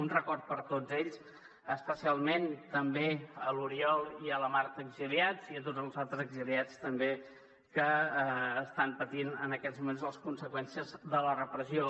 un record per a tots ells especialment també a l’oriol i a la marta exiliats i a tots els altres exiliats també que estan patint en aquests moments les conseqüències de la repressió